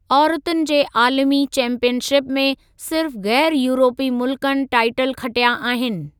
औरतुनि जे आलमी चैंपीयनशिप में सिर्फ़ ग़ैरु यूरोपी मुल्कनि टाईटल खटिया आहिनि।